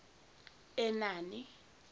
enani